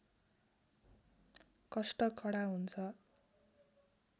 कष्ट कडा हुन्छ